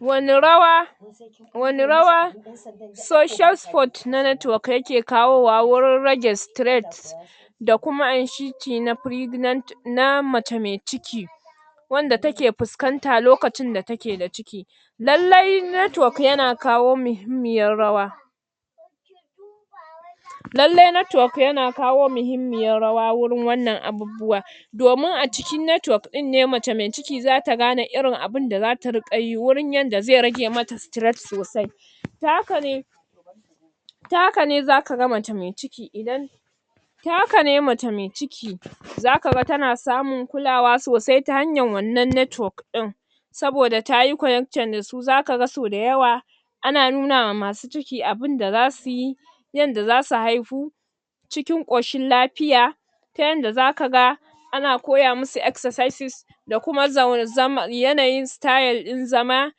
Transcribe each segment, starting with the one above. Wanne rawa wanne rawa social support na network yaka kawo wa wajan rage stress da kuma inshiki na pregnant, na mace mai ciki wanda take fuskanta lokacin da take da ciki lallai network yana kawo muhimmiyar rawa lallai network yana kawo muhimmiyar rawa wurin wannan abubuwan domin a cikin network ne mace mai ciki zata gane irin abunda zata riƙa yi wajan yadda zai rage mata stress sosai ta hakane ta hakane zaka ga mace mai ciki idan ta hakane mace mai ciki zakaga tana samun kulawa sosai ta hanyar wannan network ɗin saboda tayi connecting dasu zakaga sau dayawa ana nunawa masu ciki abinda zasu yi yadda zasu haihu cikin ƙoshin lafiya ta yadda zaka ga ana koya masu exersices da kuma um yanayin style ɗin zama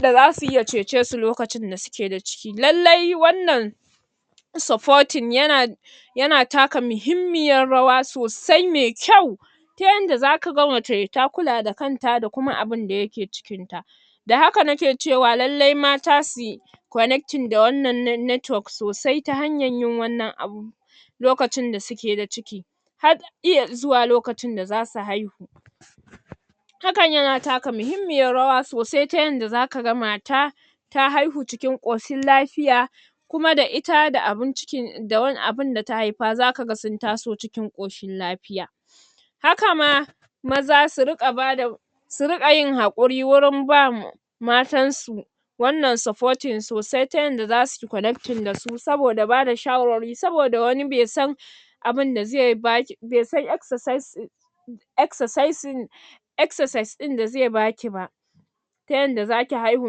da zasuyi ya cece su lokacin da suke da ciki. Lallai wannan supporting yana yana taka mahimmiyar rawa sosai mai kyau ta yadda zaka mace ta kula da kanta da kuma abinda yake cikin ta da haka nake cewa lallai mata su connecting da wannan ne networks sosai ta hanyar yin wannan abun lokacin da suke da ciki har iya zuwa lokacin da zasu haihu hakan yana taka mahimmiyar rawa sosai ta yadda zaka ga mata ta haihu cikin ƙoshin lafiya kuma da ita da abun ciki um da abinda ta haifa zaka ga sun taso cikin ƙoshin lafiya haka ma maza su riƙa bada su riƙa yin hakuri wurin ba mu matan su wannan supporting sosai ta yadda zasuyi connecting dasu saboda bada shawararwari saboda wani bai san abun da zai baki, bai san exersices exersicing exersice ɗin da zai baki ba ta yadda zaki haihu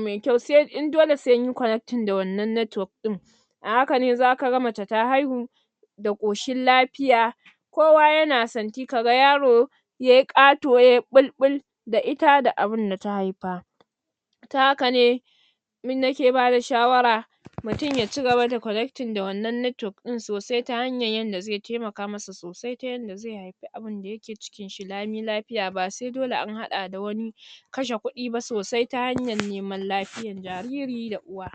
mai kyau, sai in dole sinyi connecting da wannan network ɗin a haka ne zaka ga mace ta haihu da ƙoshin lafiya kowa yana santi, kaga yaro yai ƙato yayi ɓolɓol da ita da abinda ta haifa ta hakane nake bada shawara mutum ya cigaba da connecting da wannan network ɗin sosai ta hanyar yadda zai taimaka masa sosai, ta yadda zai haifi abinda yake cikin shi lami lafiya ba sai dole an haɗa da wani kashe kuɗi ba sosai ta hanyar neman lafiyar jariri da uwa